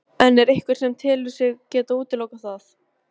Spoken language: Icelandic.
En er einhver sem telur sig geta útilokað það?